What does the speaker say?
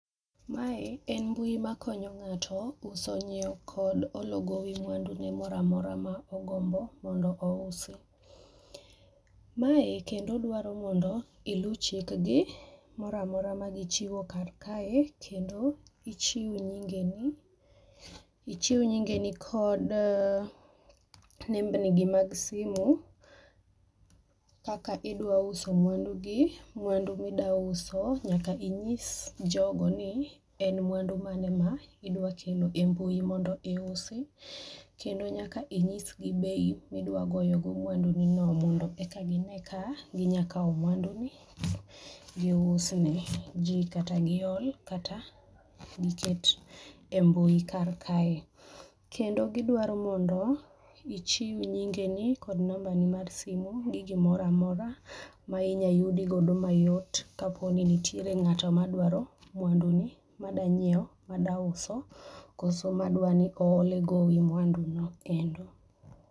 Mae en mbui makonyo ng'ato uso, ng'iewo kod holo gowi mwandune moro amora ma ogombo mondo ousi. Mae kendo dwaro mondo ilu chikgi mora amora magichiwo kar kae kendo ichiw nyingeni ichiw nyingeni kod nembni gi mag simu, kaka idwaro uso mwandugi mwandu ma idwa uso nyaka inyis jogo ni en mwandu mane ma idwa keno e mbui mondo iusi kendo nyaka inyis gi bei midwa goyogo mwandu gi no mondo eka gine ka ginyalo kawo mwandu giusni ji kata gihol kata giket e mbui kar kae. Kendo gidwaro mondo ichiw nyingeni kod nambani mar simu gi gimoro amora ma inyalo yudi godo mayot kaponi nitiere ng'ato madwaro mwanduni madwa nyiewo, madwa uso kose madwa ni ohole gowi mwanduno